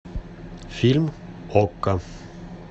фильм окко